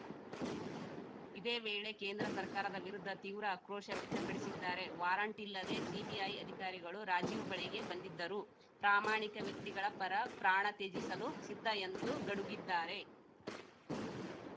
ಇದೇ ವೇಳೆ ಕೇಂದ್ರ ಸರ್ಕಾರದ ವಿರುದ್ಧ ತೀವ್ರ ಆಕ್ರೋಶ ವ್ಯಕ್ತಪಡಿಸಿದ್ದಾರೆ ವಾರಂಟ್‌ ಇಲ್ಲದೆ ಸಿಬಿಐ ಅಧಿಕಾರಿಗಳು ರಾಜೀವ್‌ ಬಳಿಗೆ ಬಂದಿದ್ದರು ಪ್ರಾಮಾಣಿಕ ವ್ಯಕ್ತಿಗಳ ಪರ ಪ್ರಾಣ ತ್ಯಜಿಸಲೂ ಸಿದ್ಧ ಎಂದು ಗಡುಗಿದ್ದಾರೆ